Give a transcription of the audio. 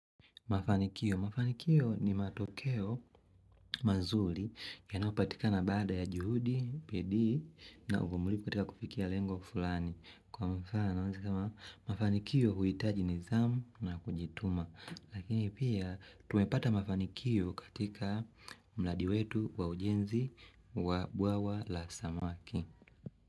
Mafanikio. Mafanikio ni matokeo mazuli yanayopatikana baada ya juhudi, pedii na ufumulipu katika kufikia lengo fulani. Kwa mfano, mafanikio huitaji nizamu na kujituma. Lakini pia, tumepata mafanikio katika mladi wetu wa ujenzi wa bwawa la samaki.